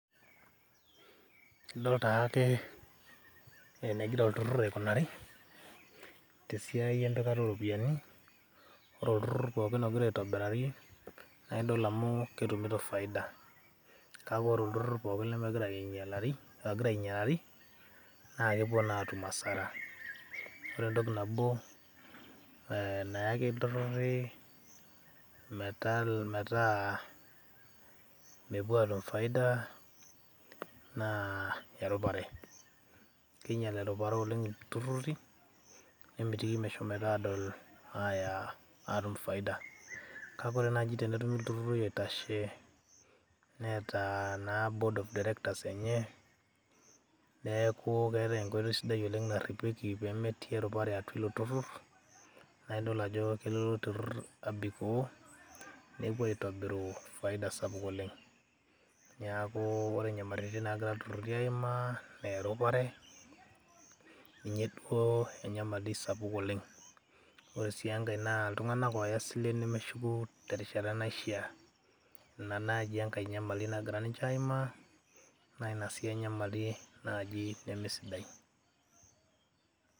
idol taake enegira olturrur aikunari tesiai empikata oropiyiani ore olturrur pokin ogira aitobirari naa idol amu ketumito faida kake ore olturrur pokin lemegira ainyialari, ogira ainyialari naa kepuo naa atum asara ore entoki nabo ee nayaki ilturruri metaa mepuo atum faida naa erupare kinyial erupare oleng ilturruri nemitiki meshomoito adol aya atum faida kake ore naaji tenetumi ilturruri oitashe neeta naa board of directors enye neeku keetae enkoitoi sidai oleng narripieki pemetii erupare atua ilo turrur naa idol ajo kelo ilo turrur abikoo nepuo aitobiru faida sapuk oleng niaku ore nyamaritin nagira ilturruri aimaa enaa erupare ninye duo enyamali sapuk oleng ore sii enkae naa iltung'anak oya silen nemeshuku terishata naishia ina naaji enkae nyamali nagira ninche aimaa naa ina sii enyamali naaji nemesidai.